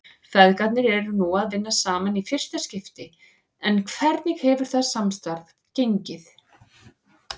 Feðgarnir eru nú að vinna saman í fyrsta skipti en hvernig hefur það samstarf gengið?